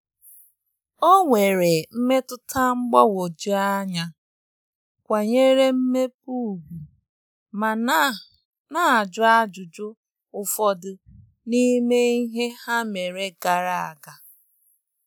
Ọ nwere mmetụta mgbagwoju anya, kwanyere mmepe ugwu ma na- na- ajụ ajụjụ ụfọdụ n'ime ihe ha mere gara aga.